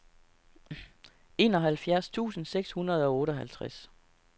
enoghalvfjerds tusind seks hundrede og otteoghalvtreds